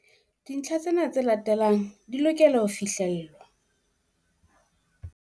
Dintlha tsena tse latelang di lokela ho fihlellwa.